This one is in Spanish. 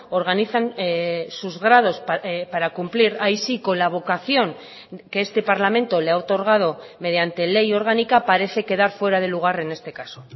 organizan sus grados para cumplir ahí sí con la vocación que este parlamento le ha otorgado mediante ley orgánica parece quedar fuera de lugar en este caso